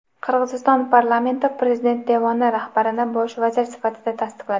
Qirg‘iziston parlamenti prezident devoni rahbarini bosh vazir sifatida tasdiqladi.